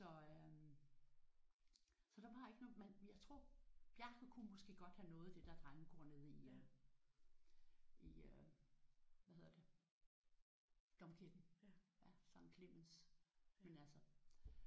Så øh så der var ikke noget men jeg tror Bjarke kunne måske godt have nået det der drengekor nede i øh i øh hvad hedder det Domkirken ja Skt Clemens men altså